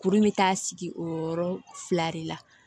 Kuru bɛ taa sigi o yɔrɔ fila de la